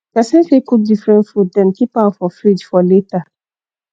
person fit cook different food then keep am for fridge for later